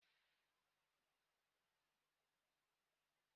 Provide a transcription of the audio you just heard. Tinubu nye anyị ezi ọchịchị onye kwuo uche ya!